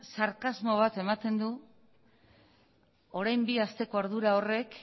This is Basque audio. sarkasmo bat ematen du orain bi asteko ardura horrek